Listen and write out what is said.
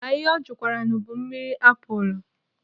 Ma ihe ọ jụkwaranụ bụ mmiri apụlụ.